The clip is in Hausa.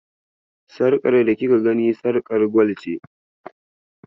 Sarƙar da kika gani, sarƙar gwal ce.